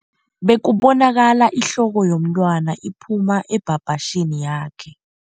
Bekubonakala ihloko yomntwana iphuma ebhabhatjhini yakhe.